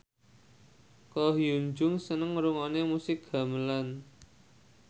Ko Hyun Jung seneng ngrungokne musik gamelan